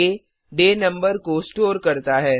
day डे number को store करता है